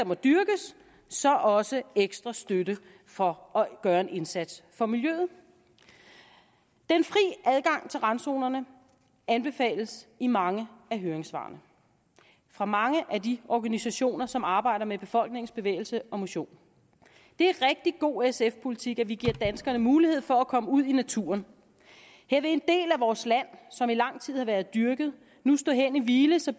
må dyrkes så også ekstra støtte for at gøre en indsats for miljøet den fri adgang til randzonerne anbefales i mange af høringssvarene fra mange af de organisationer som arbejder med befolkningens bevægelse og motion det er rigtig god sf politik at vi giver danskerne mulighed for at komme ud i naturen her vil en del af vores land som i lang tid har været dyrket nu stå hen i hvile så